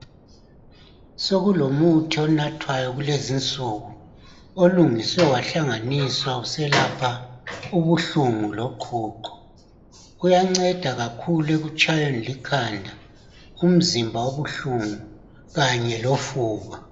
Sokulomuthi onathwayo kulezinsuku olungiswe wahlanganiswa uselapha ubuhlungu loqhuqho kuyanceda kakhulu ekutshayweni likhanda umzimba obuhlungu kanye lofuba.